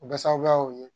O bɛ sababuyaw ye